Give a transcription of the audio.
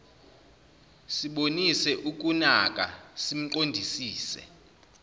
sibonise ukunaka simqondisise